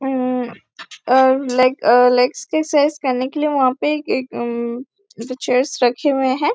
हम uh leg uh legs के exercise करने के लिए वहाँ पे एक अम चेयर्स रखे हुए हैं।